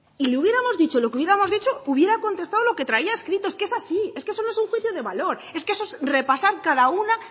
y le hubiéramos dicho lo que le hubiéramos dicho hubiera contestado lo que traía escrito es que es así es que eso no es un juicio de valor es que eso es repasar cada una